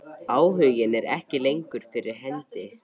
Áhuginn er ekki lengur fyrir hendi.